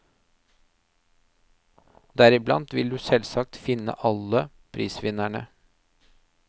Deriblant vil du selvsagt finne alle prisvinnerne.